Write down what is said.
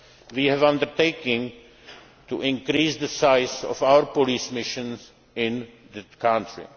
of major concern, we have undertaken to increase the size of our police mission